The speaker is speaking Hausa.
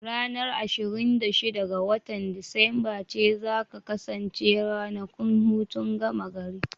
Ranar ashirin da shida ga watan Disamba ce za ta kasance ranakun hutun gama gari.